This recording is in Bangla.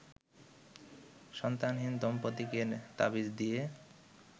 সন্তানহীন দম্পতিকে তাবিজ দিয়ে